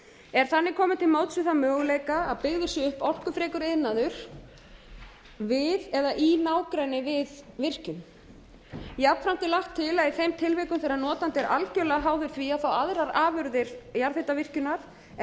er þannig komið til móts við þann möguleika að byggður sé upp orkufrekur iðnaður við eða í nágrenni við virkjun jafnframt er lagt til að í þeim tilvikum þegar notandi er algjörlega háður því að fá aðrar afurðir jarðhitavirkjunar en